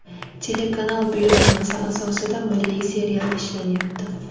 Telekanal buyurtmasi asosida milliy serial ishlanyapti.